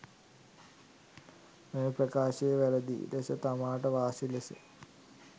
මෙම ප්‍රකාශය වැරැදි ලෙස තමාට වාසි ලෙස